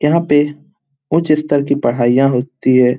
यहाँ पे उच्च स्तर की पढ़ाइयाँ होती है।